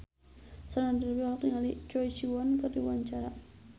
Sandra Dewi olohok ningali Choi Siwon keur diwawancara